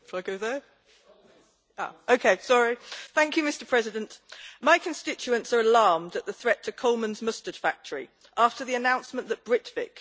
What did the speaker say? Mr President, my constituents are alarmed at the threat to Coleman's mustard factory after the announcement that Britvic, who share the same site, are closing their operations.